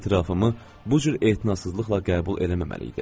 Etirafımı bu cür etinasızlıqla qəbul eləməməliydi.